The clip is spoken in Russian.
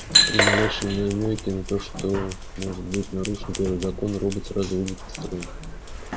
при малейшем намёке на то что может быть нарушен первый закон робот сразу выйдет из строя